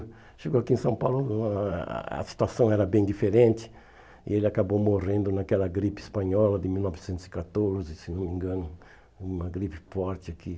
Chegou aqui em São Paulo, o a a a situação era bem diferente, e ele acabou morrendo naquela gripe espanhola de mil novecentos e catorze, se não me engano, uma gripe forte aqui.